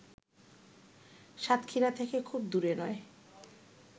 সাতক্ষীরা থেকে খুব দূরে নয়